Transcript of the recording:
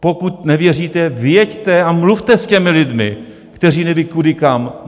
Pokud nevěříte, vyjeďte a mluvte s těmi lidmi, kteří nevědí kudy kam.